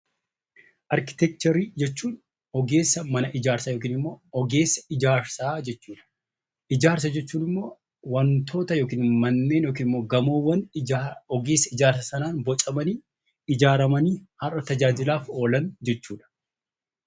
Arkiteekcharii jechuun ogeessa mana ijaarsa yookiin ogeessa ijaarsa jechuudha. Ijaarsa jechuun immoo waantota yookiin immoo manneen ogeessi ijaare sanaan bocamanii ijaaramanii hawaasaaf tajaajilaa oolan jechuudha.